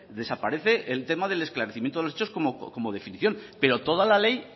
desaparece el tema del esclarecimiento de los hechos como definición pero toda la ley